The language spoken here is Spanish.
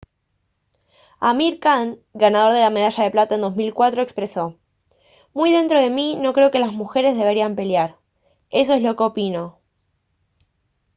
amir khan ganador de la medalla de plata en 2004 expresó: «muy dentro de mí no creo que las mujeres deberían pelear. eso es lo que opino»